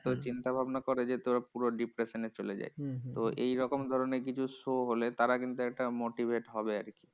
এত চিন্তাভাবনা করে যে, তোর পুরো depression এ চলে যায়। তো এইরকম ধরণের কিছু show হলে তারা কিন্তু একটা motivate হবে আরকি।